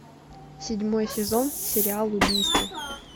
седьмой сезон сериал убийства